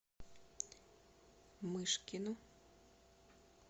мышкину